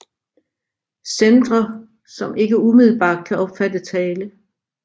Centre som ikke umiddelbart kan opfatte tale